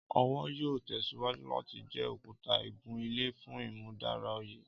Ọwọ yoo tẹsiwaju lati jẹ okuta igun-ile fun imudara oye.